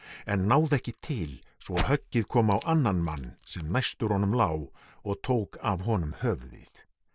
en náði ekki til svo höggið kom á annan mann sem næstur honum lá og tók af honum höfuðið